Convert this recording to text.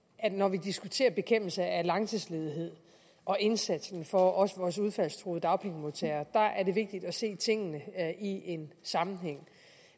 at vi når vi diskuterer bekæmpelse af langtidsledighed og indsatsen for også vores udfaldstruede dagpengemodtagere ser tingene i en sammenhæng